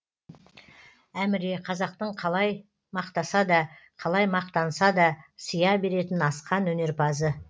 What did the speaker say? әміре қазақтың қалай мақтаса да қалай мақтанса да сия беретін асқан өнерпазы